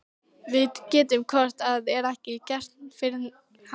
Við gætum hvort eð er ekkert gert fyrir hann.